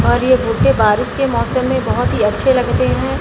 और ये भुट्टे बारिश के मौसम में बहोत ही अच्छे लगते है।